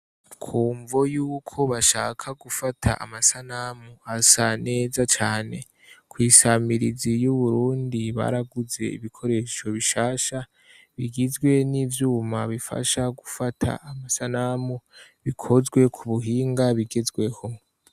Ku mvo yuko bashaka gufata amasanamu asa neza cane, kw'isamirizi y'u Burundi baraguze ibikoresho bishasha bigizwe n'ivyuma bifasha gufata amasanamu bikozwe ku buhinga bigezweho.